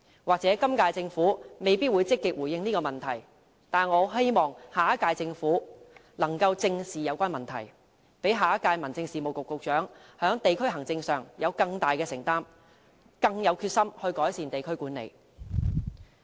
或許今屆政府未必會積極回應這個問題，但我希望下屆政府能正視有關問題，讓下屆民政事務局局長在地區行政上，有更大的承擔，更有決心改善地區管理。